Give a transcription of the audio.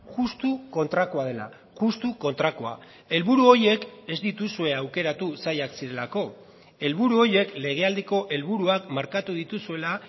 justu kontrakoa dela justu kontrakoa helburu horiek ez dituzue aukeratu zailak zirelako helburu horiek legealdiko helburuak markatu dituzuela